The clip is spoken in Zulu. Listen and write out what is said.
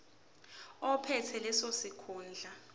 ophethe leso sikhundla